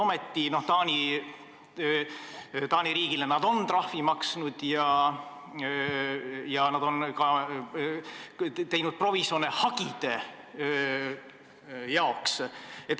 Ometi Taani riigile nad on trahvi maksnud ja on ka teinud provisjone hagide jaoks.